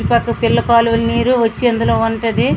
ఇటుపక్క పిల్ల కాలువ నీరు వచ్చి ఇందులో ఉంటది .